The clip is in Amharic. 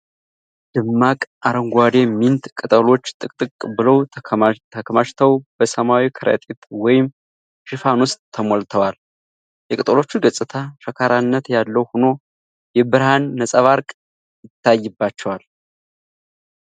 ደማቅ አረንጓዴ ሚንት ቅጠሎች ጥቅጥቅ ብለው ተከማችተው በሰማያዊ ከረጢት ወይም ሽፋን ውስጥ ተሞልተዋል። የቅጠሎቹ ገጽታ ሸካራነት ያለው ሆኖ የብርሃን ነጸብራቅ ይታይባቸዋል።